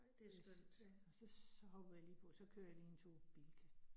Det, ja, og så så hopper jeg lige på, så kører jeg lige en tur i Bilka